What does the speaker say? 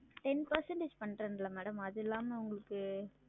Ten percentage பண்றன்கல்ல madam அதில்லாம உங்களுக்கு